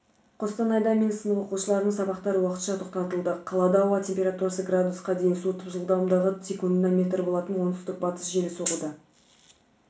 қостанайда мен сынып оқушыларының сабақтары уақытша тоқтатылды қалада ауа температурасы градусқа дейін суытып жылдамдығы секундына метр болатын оңтүстік-батыс желі соғуда